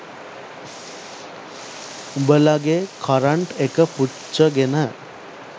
උභලගේ current එක පුච්චගෙන